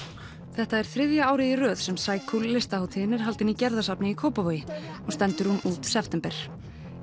þetta er þriðja árið í röð sem listahátíðin er haldin í Gerðarsafni í Kópavogi og stendur hún út september